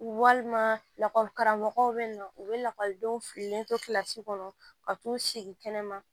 Walima lakɔli karamɔgɔw bɛ yen nɔ u bɛ lakɔlidenw fililen to kɔnɔ ka t'u sigi kɛnɛma